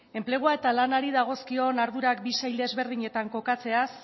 enplegua eta lanari dagozkion ardurak bi sail ezberdinetan kokatzeaz